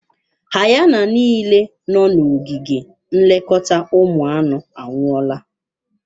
Hayana niile nọ n'ogige nlekọta ụmụ anụ anwụọla.